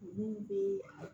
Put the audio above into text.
Olu bɛ